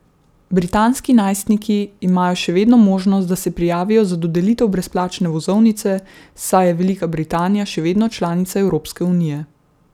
Britanski najstniki imajo še vedno možnost, da se prijavijo za dodelitev brezplačne vozovnice, saj je Velika Britanija še vedno članica Evropske unije.